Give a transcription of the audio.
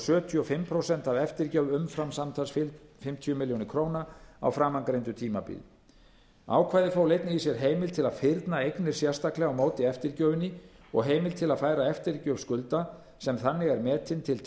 sjötíu og fimm prósent af eftirgjöf umfram samtals fimmtíu milljónir króna á framangreindu tímabili ákvæðið fól einnig í sér heimild til að fyrna eignir sérstaklega á móti eftirgjöfinni og heimild til að færa eftirgjöf skulda sem þannig er metin til